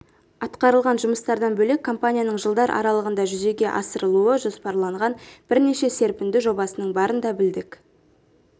атқарылған жұмыстардан бөлек компанияның жылдар аралығында жүзеге асырылуы жоспарланған бірнеше серпінді жобасының барын да білдік